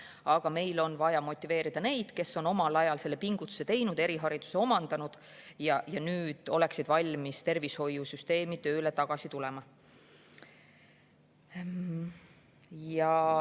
Aga meil on vaja motiveerida neid, kes on omal ajal selle pingutuse teinud, erihariduse omandanud ja nüüd oleksid valmis tagasi tervishoiusüsteemi tööle tulema.